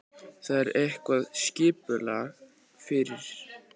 Þar er eitthvað skipulag fyrir.